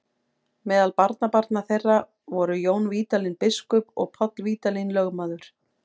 Meðal barnabarna þeirra voru Jón Vídalín biskup og Páll Vídalín lögmaður.